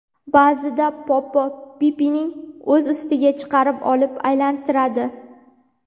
Ba’zida Poppo Pippini o‘z ustiga chiqarib olib aylantiradi.